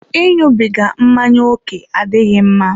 I ịṅụbiga mmanya ókè adịghị mma.